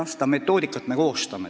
Jah, seda metoodikat me koostame.